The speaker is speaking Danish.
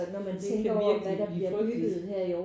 Det kan virkelig blive frygteligt